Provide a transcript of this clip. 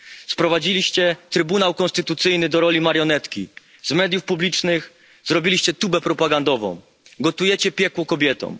Sprowadziliście Trybunał Konstytucyjny do roli marionetki, z mediów publicznych zrobiliście tubę propagandową, gotujecie piekło kobietom.